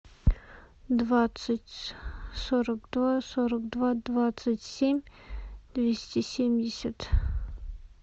двадцать сорок два сорок два двадцать семь двести семьдесят